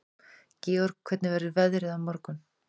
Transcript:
Georg, hvernig verður veðrið á morgun?